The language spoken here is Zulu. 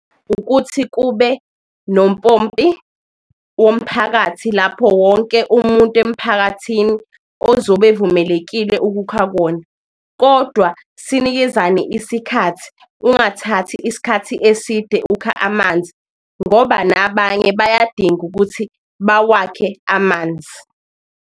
Ukuthi kube nompompi womphakathi lapho wonke umuntu emphakathini ozobe evumelekile ukukha kuwona, kodwa sinikezane isikhathi. Ungathathi isikhathi eside ukha amanzi ngoba nabanye bayadinga ukuthi bawakhe amanzi.